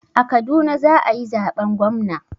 A Kaduna za a yi zaben gwamna.